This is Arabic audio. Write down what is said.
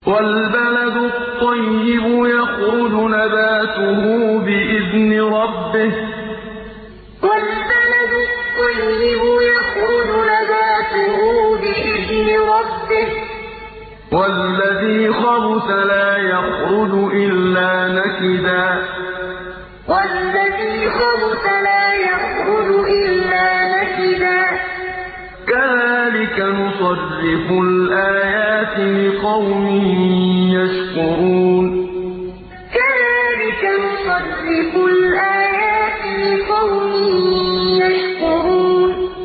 وَالْبَلَدُ الطَّيِّبُ يَخْرُجُ نَبَاتُهُ بِإِذْنِ رَبِّهِ ۖ وَالَّذِي خَبُثَ لَا يَخْرُجُ إِلَّا نَكِدًا ۚ كَذَٰلِكَ نُصَرِّفُ الْآيَاتِ لِقَوْمٍ يَشْكُرُونَ وَالْبَلَدُ الطَّيِّبُ يَخْرُجُ نَبَاتُهُ بِإِذْنِ رَبِّهِ ۖ وَالَّذِي خَبُثَ لَا يَخْرُجُ إِلَّا نَكِدًا ۚ كَذَٰلِكَ نُصَرِّفُ الْآيَاتِ لِقَوْمٍ يَشْكُرُونَ